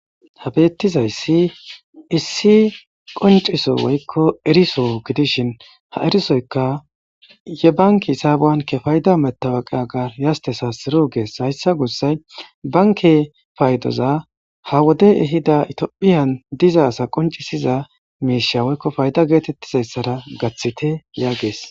ha beettizayssi issi qonciso woykko eriso gidishin ha erisoyka ye banki hisabuwan kefayda metawaqaga yastesa siro gees hayssa gussay banke paydoza ha wode ehida itiphiyan diza asa qoncisiza miisha woykko fayda geetettizayssara gaththite yaagees